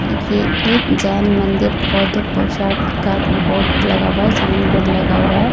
ये एक जैन मंदिर बौद्ध पोशाक का बोर्ड लगा हुआ है सामने बोर्ड लगा हुआ है।